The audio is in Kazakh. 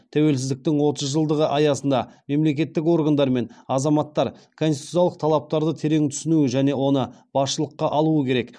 тәуелсіздіктің отыз жылдығы аясында мемлекеттік органдар мен азаматтар конституциялық талаптарды терең түсінуі және оны басшылыққа алуы керек